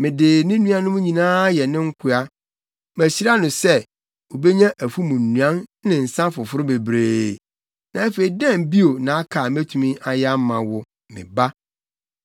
Mede ne nuanom nyinaa ayɛ ne nkoa. Mahyira no sɛ, obenya afum nnuan ne nsa foforo bebree. Na afei, dɛn bio na aka a metumi ayɛ ama wo, me ba?”